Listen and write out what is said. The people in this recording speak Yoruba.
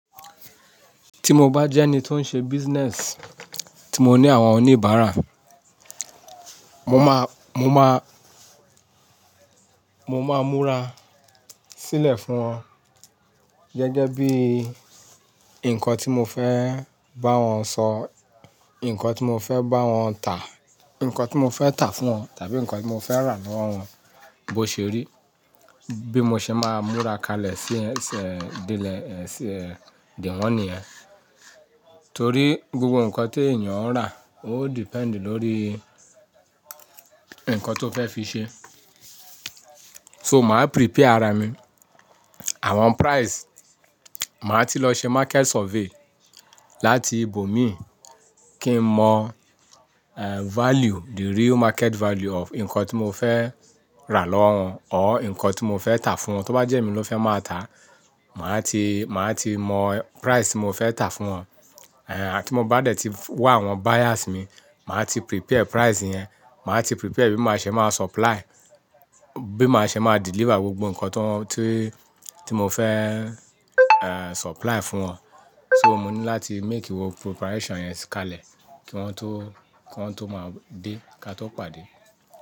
Tí mo bá jẹ́ ẹni tó ń ṣe òkó òwó tí mo ní àwọn oníbàárà, mo máa, mo máa, mo máa múra sílẹ̀ fún wọn gẹ́gẹ́ bí nǹkan tí mo fẹ́ bá wọn sọ, ǹkan tí mo fẹ́ bá wọn tà, ǹkan tí mo fẹ́ tà fún wọn tàbí ǹkan tí mo fẹ́ rà lọ́wọ́ wọn bó ṣe rí, bí mo ṣe máa múra kalẹ̀ sí ẹ̀sẹ̀, ìdílé, ẹ̀sẹ̀, ìdíwọ́n ni ẹ. Torí gbogbo ǹkan tí ènìyàn ń rà ó da lórí ǹkan tó fẹ́ fi ṣe. So màá prepare ara mi, àwọn price, màá ti lọ ṣe market survey láti ibòmíì kí n mọ, eh, value, the real market value of ǹkan tí mo fẹ́ rà lọ́wọ́ wọn tabi ǹkan tí mo fẹ́ tà fún wọn. Tóbá jẹ́ mi ló fẹ́ máa tà, màá ti, màá ti mọ iyé ti mo fẹ́ tà á fún wọn. Eh, àti mo bá dẹ̀ ti wá àwọn onibara mi, màá ti pèsè iyé yẹn, màá ti pésé bí màá ṣe máa pèsè, bí màá ṣe máa deliver gbogbo ǹkan tó, tí, tí mo fẹ́, eh, supply fún wọn. So mo ní láti make wo igbaradi yẹn kalẹ̀ kí wọ́n tó, kí wọ́n tó máa dé ká tó pàdé.